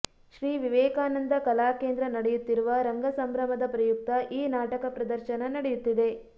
ಶ್ರೀ ವಿವೇಕಾನಂದ ಕಲಾಕೇಂದ್ರ ನಡೆಯುತ್ತಿರುವ ರಂಗಸಂಭ್ರಮದ ಪ್ರಯುಕ್ತ ಈ ನಾಟಕ ಪ್ರದರ್ಶನ ನಡೆಯುತ್ತಿದೆ